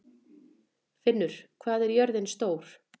Finnur, hvað er jörðin stór?